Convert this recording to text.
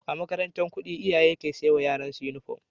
A makarantar kudi iyaye ke saiwa yaran su inufom